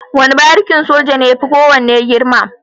Wane barikin soja ne yafi kowane girma.